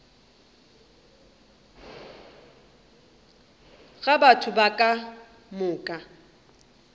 ga batho ba ka moka